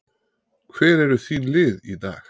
Hver eru þín lið í dag?